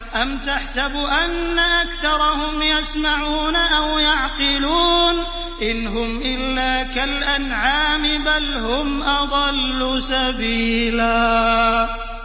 أَمْ تَحْسَبُ أَنَّ أَكْثَرَهُمْ يَسْمَعُونَ أَوْ يَعْقِلُونَ ۚ إِنْ هُمْ إِلَّا كَالْأَنْعَامِ ۖ بَلْ هُمْ أَضَلُّ سَبِيلًا